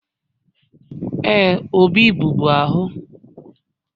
Ee, Obi bụ bu ahụ